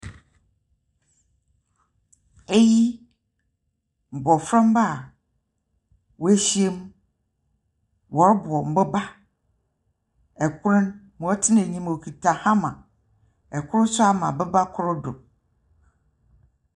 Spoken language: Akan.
Eyi mmɔfra mma woahyiam, wɔrebɔ mboba. Ɛkor ɔtena anim ɔkuta hammer. Ɛkor nso ama boba kor do.